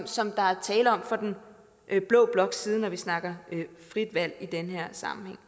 som der er tale om fra den blå bloks side når vi snakker frit valg i den her sammenhæng